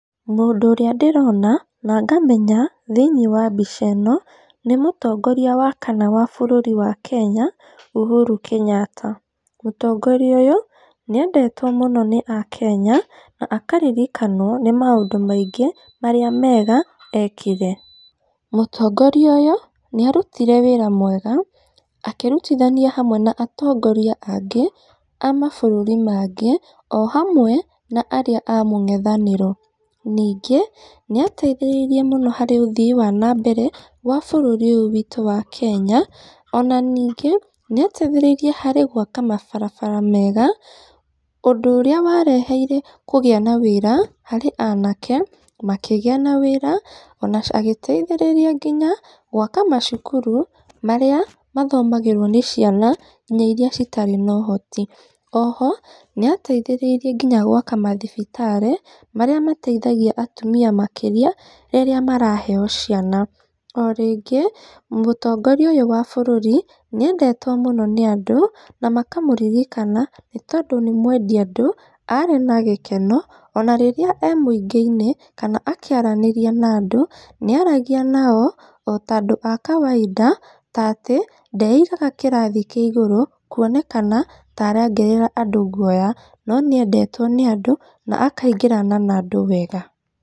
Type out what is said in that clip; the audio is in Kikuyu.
Mũndũ ũrĩa ndĩrona, na ngamenya thĩinĩ wa mbica ĩno nĩ mũtongoria wa kana wa bũrũri wa Kenya, Uhuru Kenyatta, motongoria ũyũ, nĩ endetwo mũno nĩ a Kenya, na akaririkanwo nĩ maũndũ maingĩ marĩa mega ekire, mũtongoria ũyũ, nĩ arutire wĩra mwega akĩrutithania hamwe na atongoria angĩ a mabũrũri mangĩ o hamwe na arĩa a mũngethanĩro, ningĩ nĩ ateithĩrĩirie mũno harĩ ũthii wa nambere wa bũrũri ũyũ witũ wa Kenya, ona ningĩ nĩ ateithĩrĩirie harĩ gwaka mabarabara mega, ũndũ ũrĩa wareheire kũgĩa na wĩra, harĩ anake makĩgĩa na wĩra, ona agĩteithĩrĩria nginya gwaka macukuru, marĩa mathomagĩrwo nĩ ciana nginya iria itarĩ na ũhoti, oho nĩ ateithĩrĩirie nginya gwaka mathibitarĩ, marĩa mateithagia atumia makĩria rĩrĩa maraheyo ciana, o rĩngĩ mũtongoria ũyũ wa bũrũri nĩ endetwo mũno nĩ andũ, na makamũririkana nĩ tondũ nĩ mwendi andũ, arĩ na gĩkeno, ona rĩrĩa emũingĩ-in, kana akĩaranĩria na andũ, nĩ aragia nao o tandũ a kawaida, tatĩ ndeigaga kĩrathi kĩgũrũ, kuonekana ta orongerera andũ gwoya, no nĩ endetwo nĩ andũ na akaingĩrana na andũ wega.